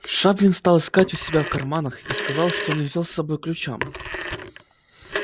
шадрин стал искать у себя в карманах и сказал что не взял с собою ключа